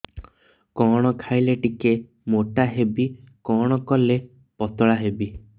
କଣ ଖାଇଲେ ଟିକେ ମୁଟା ହେବି କଣ କଲେ ପତଳା ହେବି